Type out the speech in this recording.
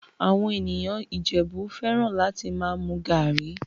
Àwọn ènìyàn Ìjẹ̀bú fẹ́ràn láti máa mu garri